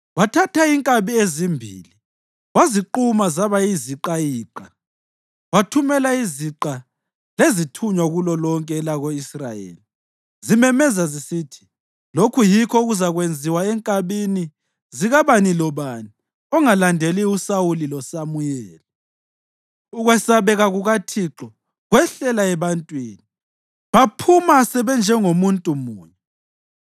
Wathatha inkabi ezimbili, waziquma zaba yiziqayiqa, wathumela iziqa lezithunywa kulolonke elako-Israyeli, zimemezela zisithi, “Lokhu yikho okuzakwenziwa enkabini zikabani lobani ongalandeli uSawuli loSamuyeli.” Ukwesabeka kukaThixo kwehlela ebantwini, baphuma sebenjengomuntu munye.